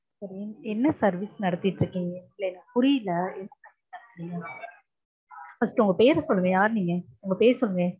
சரி. என்ன service நடத்திட்டிருக்கீங்க? இல்ல எனக்கு புரியல First உங்க பேர் சொல்லுங்க. யார் நீங்க? உங்க பேர் சொல்லுங்க.